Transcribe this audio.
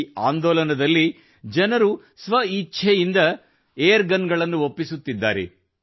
ಈ ಆಂದೋಲನದಲ್ಲಿ ಜನರು ಸ್ವ ಇಚ್ಛೆಯಿಂದ ಒಪ್ಪಿಸುತ್ತಿದ್ದಾರೆ